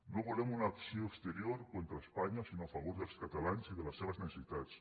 no volem una acció exterior contra espanya sinó a favor dels catalans i de les seves necessitats